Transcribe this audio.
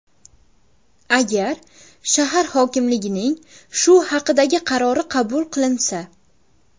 Agar shahar hokimligining shu haqdagi qarori qabul qilinsa.